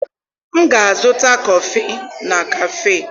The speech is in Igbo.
M ga-azụta kọfị na kafe.